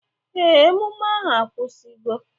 Ee, emume ahụ akwụsigo.